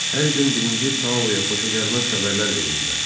Hər gün birinci Taoya xoşagəlməz xəbərlər verirdilər.